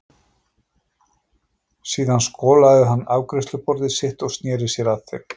Síðan skolaði hann afgreiðsluborðið sitt og sneri sér að þeim.